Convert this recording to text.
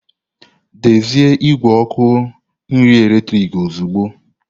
Dezie igwe ọkụ nri eletrik ozugbo!